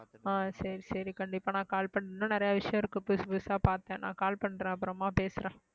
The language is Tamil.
ஆஹ் சரி சரி கண்டிப்பா நான் call பண்~ இன்னும் நிறைய விஷயம் இருக்கு புதுசு புதுசா பார்த்தேன் நான் call பண்றேன் அப்புறமா பேசுறேன்